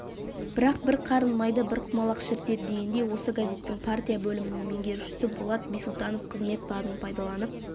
бірақ бір қарын майды бір құмалақ шірітеді дегендей осы газеттің партия бөлімінің меңгерушісі болат бисұлтанов қызмет бабын пайдаланып